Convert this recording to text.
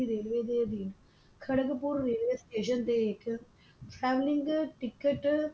railway ਦੇ ਅਧੀਨ Kharagpur railway station ਦੇ ਹੇਠ selling ticket